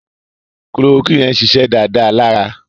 Kulorokúìnì yẹn ṣiṣẹ́ dáadáa lára